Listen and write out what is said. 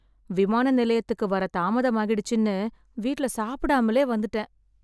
விமான நிலையத்துக்கு வர தாமதமாகிடுச்சுன்னு வீட்ல சாப்பிடாமலே வந்துட்டேன்.